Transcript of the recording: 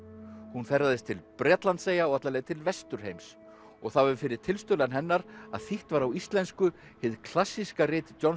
hún ferðaðist til Bretlandseyja og alla leið til Vesturheims og það var fyrir tilstuðlan hennar að þýtt var á íslensku hið klassíska rit John